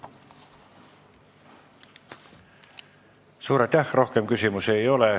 Suur aitäh, rohkem küsimusi ei ole.